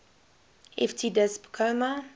ft disp comma